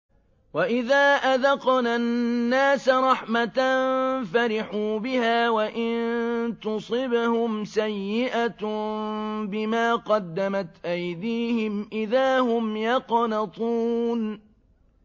وَإِذَا أَذَقْنَا النَّاسَ رَحْمَةً فَرِحُوا بِهَا ۖ وَإِن تُصِبْهُمْ سَيِّئَةٌ بِمَا قَدَّمَتْ أَيْدِيهِمْ إِذَا هُمْ يَقْنَطُونَ